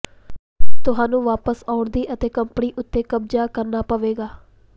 ਤੁਹਾਨੂੰ ਵਾਪਸ ਆਉਣ ਦੀ ਅਤੇ ਕੰਪਨੀ ਉੱਤੇ ਕਬਜ਼ਾ ਕਰਨਾ ਪਵੇਗਾ